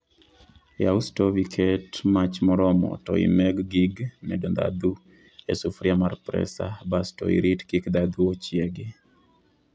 yaw stov iket mach maromo to imeg gig medo dhadhu e sufuria mar presa bas to irit kik dhadhu ochiegi